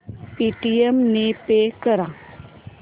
Paytm ने pay कर